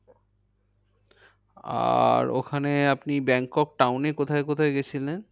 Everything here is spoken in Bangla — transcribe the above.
আর ওখানে আপনি ব্যাংকক town এ কোথায় গিয়েছিলেন?